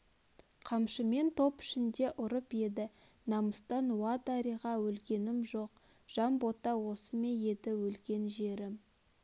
қамшымен топ ішінде ұрып еді намыстан уа дариға өлгенім жоқ жанбота осы ме еді өлген жерім